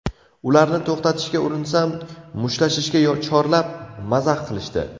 Ularni to‘xtatishga urinsam, mushtlashishga chorlab, mazax qilishdi.